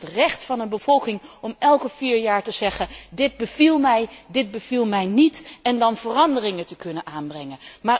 Het is het recht van een bevolking om elke vier jaar te zeggen Dit beviel mij, dit beviel mij niet, en dan veranderingen te kunnen aanbrengen.